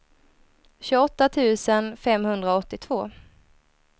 tjugoåtta tusen femhundraåttiotvå